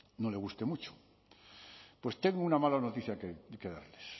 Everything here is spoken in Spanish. no le guste mucho pues tengo una mala noticia que darles